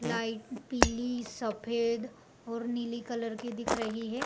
Light पीली सफ़ेद और नीली कलर की दिख रही है।